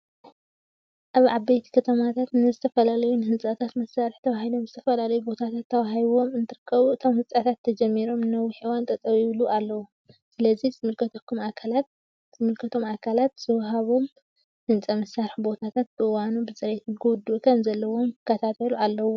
ኣብ ዓበይቲ ከተማታት ንዝተፈላለዩ ንህንፀታት መስርሒ ተባሂሎም ዝተፈላለዩ ቦታታት ተዋሂቦም እንትርከቡ እቶም ህንፀታት ተጀሚሮም ንነዊሕ እዋን ጠጠው ይብሉ ኣለው። ስለዚ ዝምልከቶም ኣካላት ዝወሃብዎም ህንፃ መስርሒ ቦታታት ብእዋኑን ብፅሬትን ክውድኡ ከም ዘለዎም ክከታተሉ ኣለዎም።